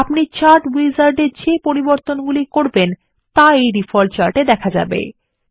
আপনার দ্বারা chart wizard এর মধ্যে করা পরিবর্তনগুলি ডিফল্ট চাটে আপডেট হয়